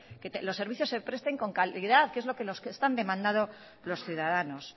que los servicios se presten con calidad que es lo que están demandando los ciudadanos